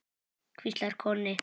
hvíslar Konni.